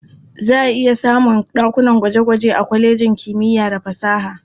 Za a iya samun ɗakunan gwaje-gwaje a kwalejin kimiya da fasaha.